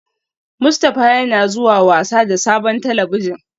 Mustafa yana zuwa wasa da sabon talabijin